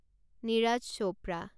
Neeraj Chopra